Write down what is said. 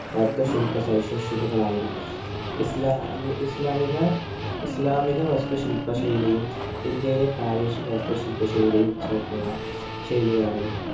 വസ്തു ശില്പ സവിശേഷതകള്‍ ആയിരുന്നു. ഇസ്ലാ ഇസ്ലാമിക വസ്തു ശില്പ ശൈലിയും, ഇന്ത്യയിലെ പ്രാദേശിക വാസ്തു ശില്പ ശൈലിയും ചേര്‍ന്നുള്ള ശൈലിയാണ് ഇത്.